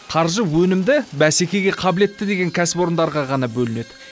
қаржы өнімді бәсекеге қабілетті деген кәсіпорындарға ғана бөлінеді